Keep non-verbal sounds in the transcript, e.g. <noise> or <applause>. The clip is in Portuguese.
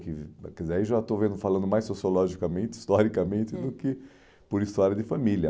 <unintelligible> Quer dizer, é que aí já estou vendo falando mais sociologicamente, historicamente, hum, do que por história de família.